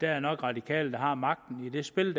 er radikale der har magten i det spil